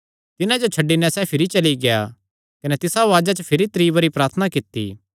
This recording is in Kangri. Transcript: तिन्हां जो छड्डी नैं सैह़ भिरी चली गेआ कने तिसा उआज़ा च भिरी त्री बरी प्रार्थना कित्ती